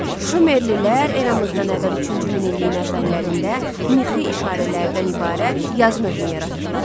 Şumerlilər eramızdan əvvəl üçüncü minilliyin əvvəllərində mixi işarələrdən ibarət yazı növünü yaratdılar.